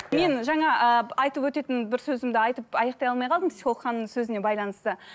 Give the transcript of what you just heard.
мен жаңа ыыы айтып өтетін бір сөзімді айтып аяқтай алмай қалдым психолог ханымның сөзіне байланысты